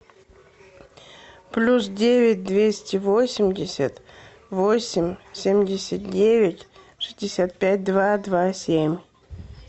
плюс девять двести восемьдесят восемь семьдесят девять шестьдесят пять два два семь